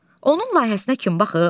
Onun layihəsinə kim baxıb?